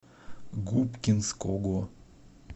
губкинского